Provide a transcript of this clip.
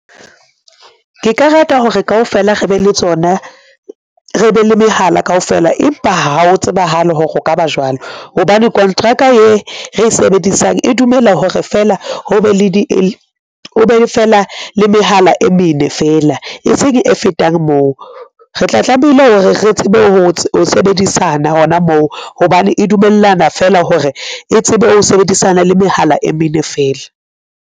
Ke ka rata hore kaofela re be le tsona re be le mehala kaofela, empa ha ho tsebahale hore o ka ba jwalo hobane kontraka e re e sebedisang e dumela hore feela o be le mehala e mene feela e seng e fetang moo. Re tla tlamehile hore re tsebe ho sebedisana hona moo hobane e dumellana feela hore e tsebe ho sebedisana le mehala e mene feela.